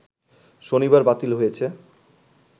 শনিবার বাতিল হয়েছে